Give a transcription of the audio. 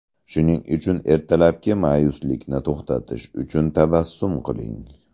Shuning uchun ertalabki ma’yuslikni to‘xtatish uchun tabassum qiling.